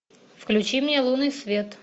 включи мне лунный свет